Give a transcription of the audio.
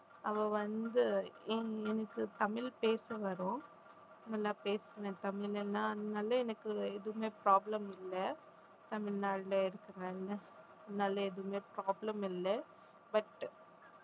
அவ வந்து எனக்~ எனக்கு தமிழ் பேச வரும் நல்லா பேசினேன் தமிழன்னா அதனால எனக்கு எதுவுமே problem இல்லை தமிழ்நாட்டுல இருக்கிறாங்க அதனால எதுவுமே problem இல்லை but